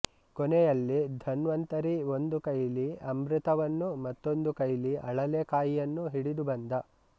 ಕೊನೆಯಲ್ಲಿ ಧನ್ವಂತರಿ ಒಂದು ಕೈಲಿ ಅಮೃತವನ್ನೂ ಮತ್ತೊಂದು ಕೈಲಿ ಅಳಲೆಕಾಯನ್ನೂ ಹಿಡಿದು ಬಂದ